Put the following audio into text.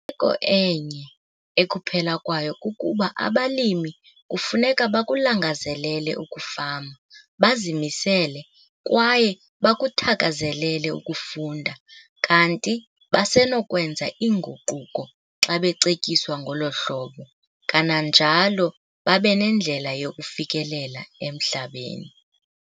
ko enye ekuphela kwayo kukuba abalimi kufuneka bakulangazelele ukufama, bazimisele kwaye bakuthakazelele ukufunda, kanti basenokwenza iinguquko xa becetyiswa ngolo hlobo, kananjalo babe nendlela yokufikelela emhlabeni.